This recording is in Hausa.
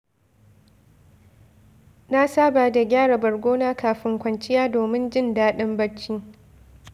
Na saba da gyara bargona kafin kwanciya domin jin daɗin bacci.